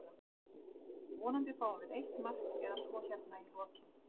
Vonandi fáum við eitt mark eða svo hérna í lokinn.